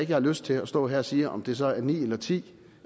jeg har lyst til at stå her og sige om det så er ni eller ti